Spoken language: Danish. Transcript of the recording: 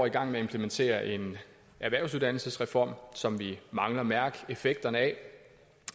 i gang med at implementere en erhvervsuddannelsesreform som vi mangler at mærke effekten af